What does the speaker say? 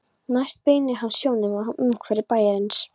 Næst beinir hann sjónum að umhverfi bæjarins.